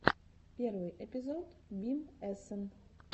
первый эпизод бим эсэн